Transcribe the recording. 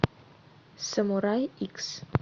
самурай икс